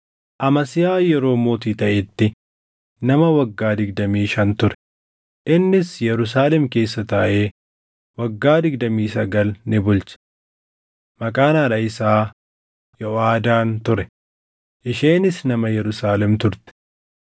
Amasiyaa yeroo mootii taʼetti nama waggaa digdamii shan ture; innis Yerusaalem keessa taaʼee waggaa digdamii sagal ni bulche. Maqaan haadha isaa, Yoʼaadaan ture; isheenis nama Yerusaalem turte.